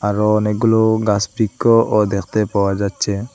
আরও অনেকগুলো গাসবৃক্ষও দেখতে পাওয়া যাচ্ছে।